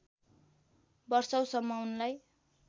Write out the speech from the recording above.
वषौँसम्म उनलाई